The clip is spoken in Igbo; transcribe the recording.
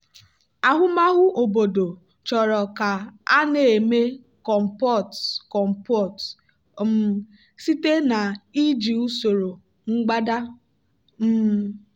ahụmahụ obodo chọrọ ka a na-eme compote compote um site na iji usoro mgbada. um